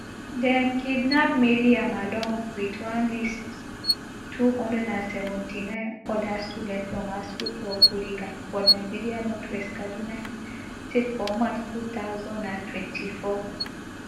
dem kidnap mariam along with at least two hundred and seventy-nine oda students from her school for kuriga for nigeria northwest kaduna state for march two thousand and twenty-four